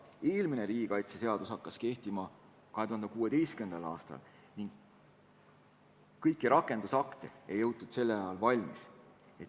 Eelmine riigikaitseseadus hakkas kehtima 2016. aastal ning kõiki rakendusakte ei jõutud siis valmis.